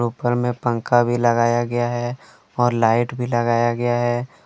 ऊपर में पंखा भी लगाया गया है और लाइट भी लगाया गया है।